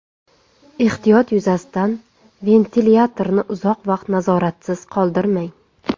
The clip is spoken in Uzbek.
Ehtiyot yuzasidan ventilyatorni uzoq vaqt nazoratsiz qoldirmang.